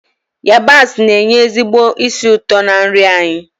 yabasị na-enye ezigbo ísì ụtọ na nri anyị